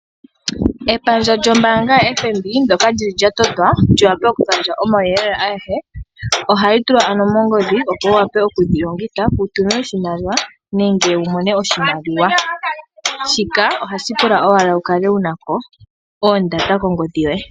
Epandja lyombaanga yo FNB ndyoka lyili lya totwa lyaantu oku gandja omawuyelele agehe ohali tulwa ano mongodhi opo wu wape okuli longitha. Oku tuma oshimaliwa nenge wu mone oshimaliwa shika ohashi pula owala wu kale wuna oodata kongodhi yoye.